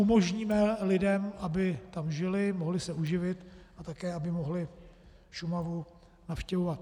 Umožníme lidem, aby tam žili, mohli se uživit a také aby mohli Šumavu navštěvovat.